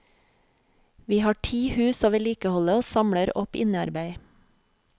Vi har ti hus å vedlikeholde og samler opp innearbeid.